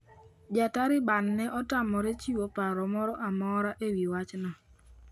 JaTaliban ne otamore chiwo paro moro amora e wi wachno.